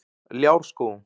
Ljárskógum